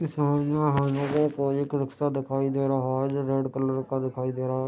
इस इमेज में हमरे को एक रिक्शा दिखाई दे रहा है जो रेड कलर का दिखाई दे रहा है।